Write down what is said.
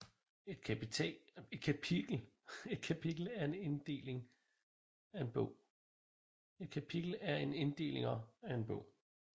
Et kapitel er en inddelinger af en bog